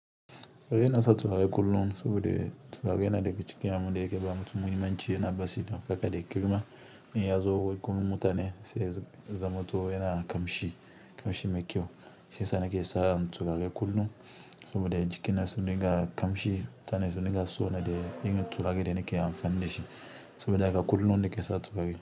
Ina sa turare kullun saboda turare yana daga abunda yake ba mutun mahimmanci yana basi daka da girma inya zo gurin mutane sai ya zamoto yana ƙamshi ƙamshi mai kyau shiyasa nake sa turare kullun, saboda jikin zai dinga ƙamshi mutane su dinga sona irin turare da nike amfani dashi saboda haka kullun nike sa turare.